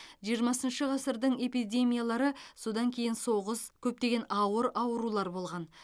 жиырмасыншы ғасырдың эпидемиялары содан кейін соғыс көптеген ауыр аурулар болған